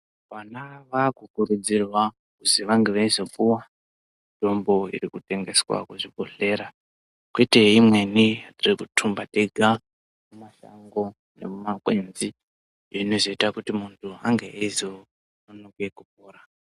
Vana vakukurudzirwa kuzi vange veizopuwa mitombo irikutengeswa kuzvibhohlera kwete imweni yekutumba tega mumashango nemumakwenzi iyo inozoita kuti munhu ange eizononoka kupora.